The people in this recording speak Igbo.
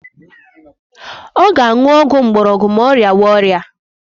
Ọ ga-aṅụ ọgwụ mgborogwu ma ọ rịawa ọrịa